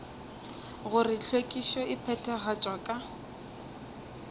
gore hlwekišo e phethagatšwa ka